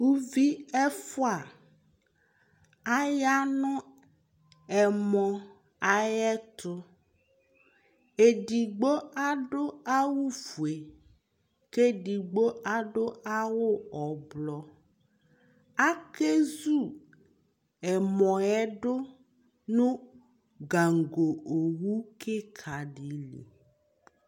uvi ɛfua aya no ɛmɔ ayi ɛto edigbo adu awu fue k'edigbo adu awu ublɔ ake zu ɛmɔ yɛ do no gaŋgo owu keka di li